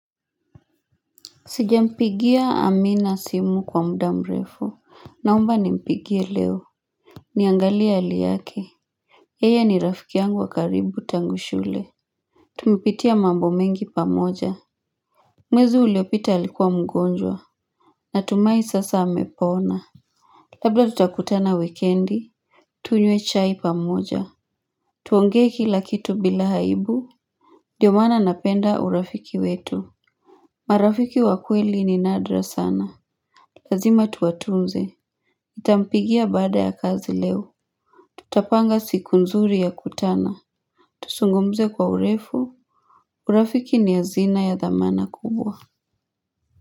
Sijampigia amina simu kwa muda mrefu Naomba nimpigie leo Niangalie hali yake yeye ni rafiki yangu wa karibu tangu shule Tumepitia mambo mengi pamoja Mwezi uliopita alikuwa mgonjwa Natumahi sasa amepona Labda tutakutana wikendi Tunywe chai pamoja Tuonge kila kitu bila aibu ndio maana napenda urafiki wetu marafiki wa kweli ni nadra sana Lazima tuwatunze nitampigia baada ya kazi leo Tutapanga siku nzuri ya kutana Tuzungumze kwa urefu urafiki ni azina ya dhamana kubwa.